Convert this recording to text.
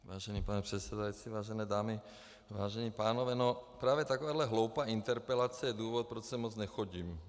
Vážený pane předsedající, vážené dámy, vážení pánové, no právě takováhle hloupá interpelace je důvod, proč sem moc nechodím.